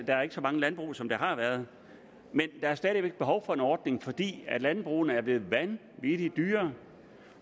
er ikke så mange landbrug som der har været men der er stadig væk behov for en ordning fordi landbrugene er blevet vanvittig dyre